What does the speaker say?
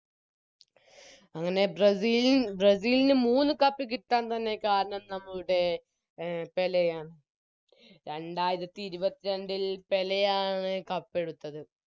അങ്ങനെ ബ്രസീലിൻ ബ്രസീലിന് മൂന്ന് Cup കിട്ടാൻ തന്നെ കാരണം നമ്മളുടെ പേലെയാണ് രണ്ടായിരത്തിഇരുപത്രണ്ടിൽ പേലെയാണ് Cup എടുത്തത്